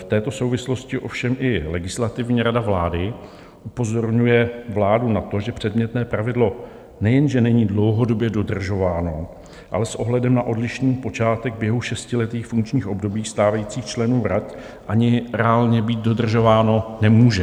V této souvislosti ovšem i Legislativní rada vlády upozorňuje vládu na to, že předmětné pravidlo nejenže není dlouhodobě dodržováno, ale s ohledem na odlišný počátek běhu šestiletých funkčních období stávajících členů rad ani reálně být dodržováno nemůže.